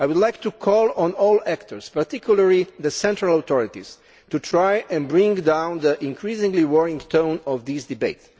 I would like to call on all actors, particularly the central authorities, to try to bring down the increasingly worrying tone of this debate.